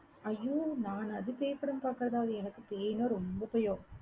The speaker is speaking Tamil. ஐயோ, நானாவது பேய் படம் பாக்கிறதாவது எனக்கு பேயின்னா ரொம்ப பயம்